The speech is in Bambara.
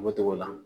O togo la